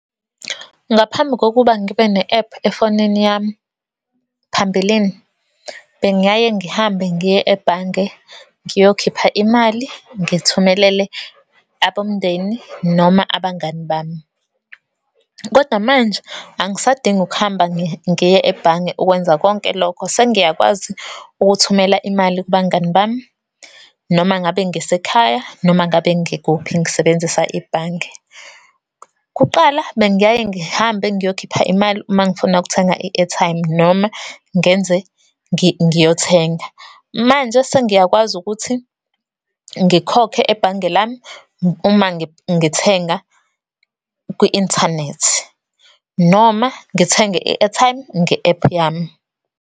Ngaphambi kokuba ngibe ne-app efonini yami, phambilini bengiyaye ngihambe ngiye ebhange, ngiyokhipha imali, ngithumelele abomndeni noma abangani bami. Kodwa, manje angisadingi ukuhamba ngiye ebhange ukwenza konke lokho. Sengiyakwazi ukuthumela imali kubangani bami, noma ngabe ngisekhaya, noma ngabe ngikuphi, ngisebenzisa ibhange. Kuqala, bengiyaye ngihambe ngiyokhipha imali, uma ngifuna ukuthenga i-airtime, noma ngenze ngiyothenga. Manje, sengiyakwazi ukuthi, ngikhokhe ebhange lami uma ngithenga kwi-inthanethi, noma ngithenge i-airtime nge-app yami.